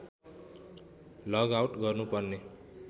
लग out गर्नुपर्ने